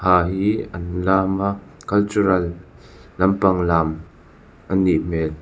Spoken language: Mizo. hi an lam a cultural lam pang lam a nih hmel.